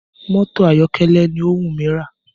Mọ́tò ayọ̀kẹ́lẹ́ ni ó wù mí rà